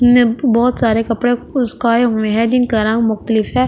ने बहुत सारे कपड़े उस्काए हुए हैं जिनका रंग मुख्तलिफ है।